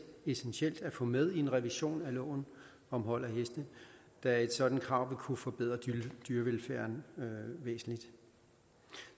og essentielt at få med i en revision af loven om hold af heste da et sådant krav vil kunne forbedre dyrevelfærden væsentligt